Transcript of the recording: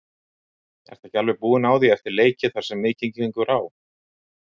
Ertu ekki alveg búinn á því eftir leiki þar sem mikið gengur á?